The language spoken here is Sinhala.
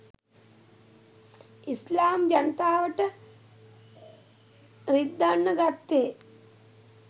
ඉස්ලාම් ජනතාවට රිද්දන්න ගත්තෙ